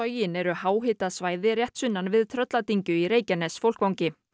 sogin eru háhitasvæði rétt sunnan við Trölladyngju í Reykjanesfólkvangi